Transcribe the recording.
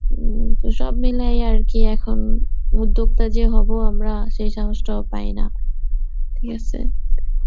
উম তো সব মিলাইয়া আরকি এখন উদ্যোক্তা যে হব আমরা সেই সাহসটাও পাই না, ঠিক আসে